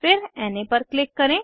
फिर ना पर क्लिक करें